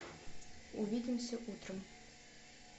увидимся утром